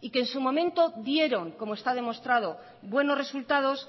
y que en su momento dieron como está demostrado buenos resultados